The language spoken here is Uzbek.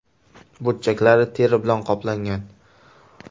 Burchaklari teri bilan qoplangan.